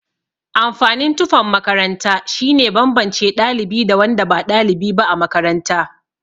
Amfanin tufan makaranta shine banbance ɗalibi da wanda ba ɗalibi ba a makaranta.